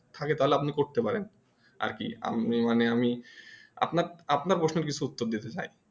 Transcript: থাকে তালে আপনি করতে পারেন আর কি আমি আমি মানে আমি আপনার কিছু প্রশ্নর উত্তর দিতে চাই